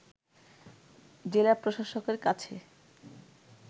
জেলা প্রসাশকের কাছে